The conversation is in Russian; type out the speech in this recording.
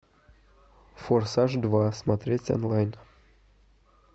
форсаж два смотреть онлайн